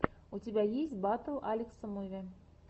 у тебя есть батл алекса муви